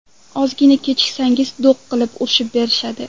Ozgina kechiksangiz do‘g‘ qilib, urushib berishadi.